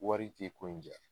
Wari ti ko in ja